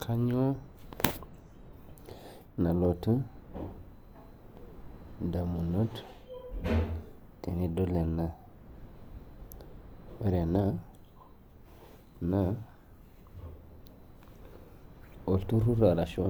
Kinayioo nalotu ndamunot tenidol ena ore ena naa olturrur arashu